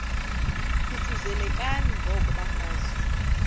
thuthuzelekani ngoko bafazana